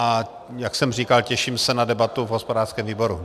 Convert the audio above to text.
A jak jsem říkal, těším se na debatu v hospodářském výboru.